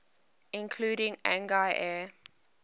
including agni air